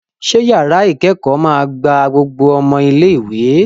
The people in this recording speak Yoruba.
Ṣé yàrá ìkẹ́kọ̀ọ́ máa gba gbogbo ọmọ ilé-ìwé?